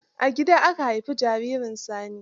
A gida aka haifi jaririn sani.